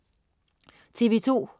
TV2: